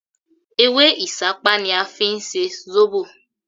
Ewé Ìsápá ni a fí n se Zóbò